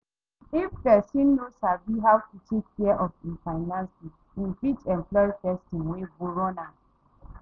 If person no sabi how to take care of im finances im fit employ person wey go run am